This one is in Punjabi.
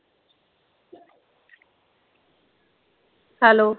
Hello